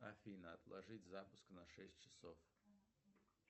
афина отложить запуск на шесть часов